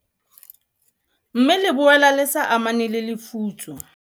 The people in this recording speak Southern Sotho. Mme le boela le sa amane le lefutso.